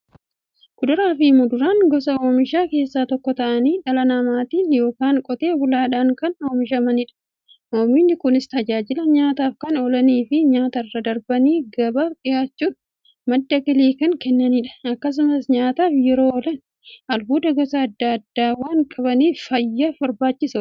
Kuduraafi muduraan gosa oomishaa keessaa tokko ta'anii, dhala namaatin yookiin Qotee bulaadhan kan oomishamaniidha. Oomishni Kunis, tajaajila nyaataf kan oolaniifi nyaatarra darbanii gabaaf dhiyaachuun madda galii kan kennaniidha. Akkasumas nyaataf yeroo oolan, albuuda gosa adda addaa waan qabaniif, fayyaaf barbaachisoodha.